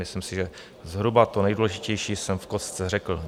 Myslím si, že zhruba to nejdůležitější jsem v kostce řekl.